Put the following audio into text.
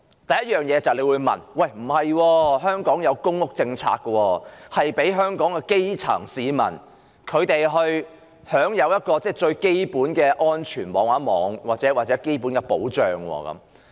第一條路是公屋：你會說香港有公屋政策，讓香港的基層市民享有最基本的安全網及保障。